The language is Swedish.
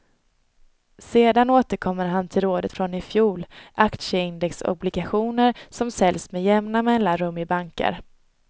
Sedan återkommer han till rådet från i fjol, aktieindexobligationer, som säljs med jämna mellanrum i banker.